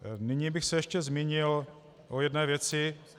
Nyní bych se ještě zmínil o jedné věci.